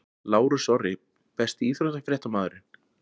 Lárus Orri Besti íþróttafréttamaðurinn?